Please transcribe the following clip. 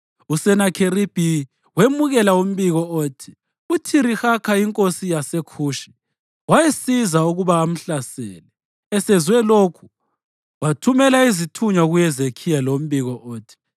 USenakheribhi wemukela umbiko othi uThirihaka inkosi yaseKhushi, wayesiza ukuba amhlasele. Esezwe lokho wathumela izithunywa kuHezekhiya lombiko othi: